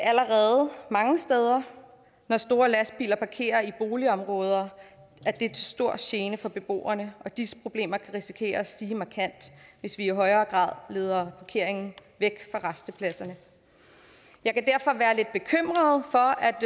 mange steder når store lastbiler parkerer i boligområder at det er til stor gene for beboerne og disse problemer kan risikere at stige markant hvis vi i højere grad leder parkeringen væk fra rastepladserne jeg kan derfor være lidt bekymret for